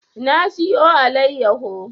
Na siyo allayaho